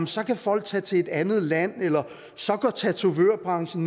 så kan folk tage til et andet land eller at tatovørbranchen